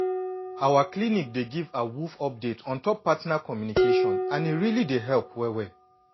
our clinic dey give awoof update on top partner communication and e really dey help well well.